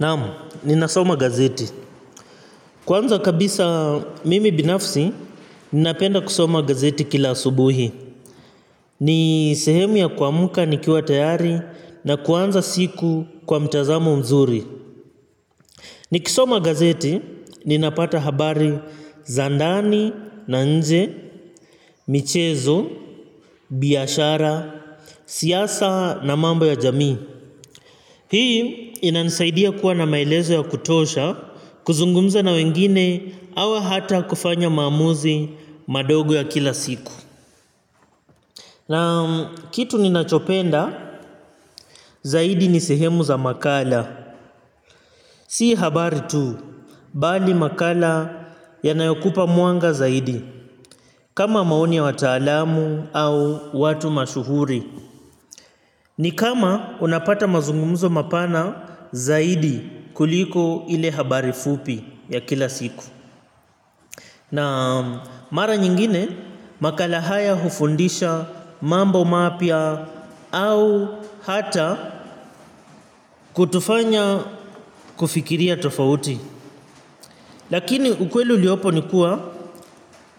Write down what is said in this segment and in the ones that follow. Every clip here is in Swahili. Naam, ninasoma gazeti. Kwanza kabisa mimi binafsi, ninapenda kusoma gazeti kila subuhi. Ni sehemu ya kwamka nikiwa tayari na kuanza siku kwa mtazamo mzuri. Nikisoma gazeti, ninapata habari za ndani, na nje, michezo, biashara, siasa na mamba ya jamii. Hii inanisaidia kuwa na maelezo ya kutosha kuzungumza na wengine au hata kufanya maamuzi madogo ya kila siku. Na kitu ninachopenda zaidi ni sehemu za makala. Si habari tu, bali makala yanayokupa mwanga zaidi kama maoni ya wataalamu au watu mashuhuri. Ni kama unapata mazungumzo mapana zaidi kuliko ile habari fupi ya kila siku. Na mara nyingine makala haya hufundisha mambo mapya au hata kutufanya kufikiria tofauti. Lakini ukweli uliopo ni kuwa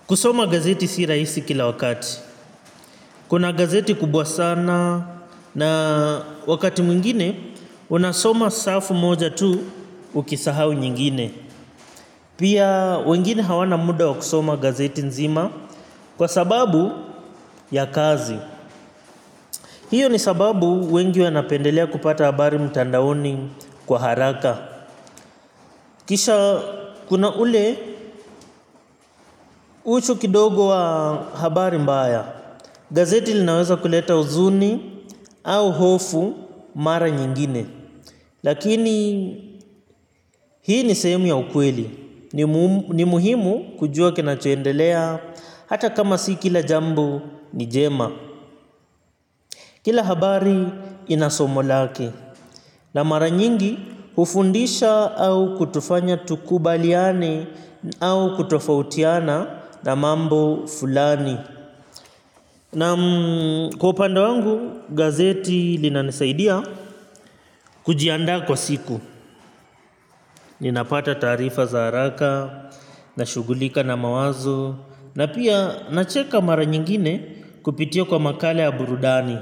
kusoma gazeti si raisi kila wakati. Kuna gazeti kubwa sana na wakati mwingine unasoma safu moja tu. Ukisahau nyingine pia wengine hawana muda wa kusoma gazeti nzima kwa sababu ya kazi. Hiyo ni sababu wengi wanapendelea kupata habari mtandaoni kwa haraka. Kisha kuna ule uchu kidogo wa habari mbaya. Gazeti linaweza kuleta uzuni au hofu mara nyingine. Lakini hii ni sehemu ya ukweli. Ni muhimu kujua kinacho endelea. Hata kama si kila jambo ni jema. Kila habari inasomo lake. Na mara nyingi ufundisha au kutufanya tukubaliane au kutofautiana na mambo fulani. Naam kwa upanda wangu gazeti linanisaidia kujiandaa kwa siku. Ninapata taarifa za haraka, nashugulika na mawazo, na pia nacheka mara nyingine kupitia kwa makala ya burudani.